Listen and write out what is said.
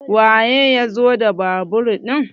waye ya zo da babur ɗin?